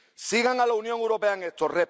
Sigan a la Unión Europea en esto.